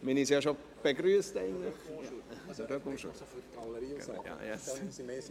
Wir haben uns eigentlich bereits begrüsst.